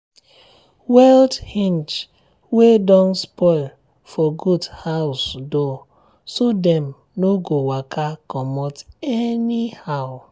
weld hinge um um wey don spoil for goat house door um so dem no um go waka comot anyhow.